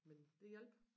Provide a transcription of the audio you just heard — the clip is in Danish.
Men det hjalp